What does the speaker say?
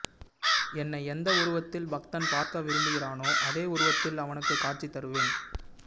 என்னை எந்த உருவத்தில் பக்தன் பார்க்க விரும்புகிறானோ அதே உருவத்தில் அவனுக்கு காட்சி தருவேன்